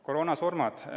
Koroonasurmad.